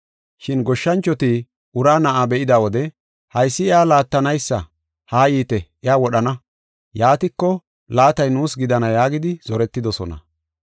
“Shin goshshanchoti uraa na7a be7ida wode, ‘Haysi iya laattanaysa, haa yiite iya wodhana, yaatiko laatay nuus gidana’ yaagidi zoretidosona.